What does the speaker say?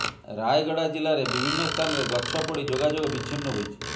ରାୟଗଡା ଜିଲ୍ଲାରେ ବିଭିନ୍ନ ସ୍ଥାନରେ ଗଛ ପଡି ଯୋଗାଯୋଗ ବିଚ୍ଛିନ୍ନ ହୋଇଛି